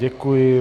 Děkuji.